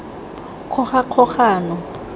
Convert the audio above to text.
kgogakgogano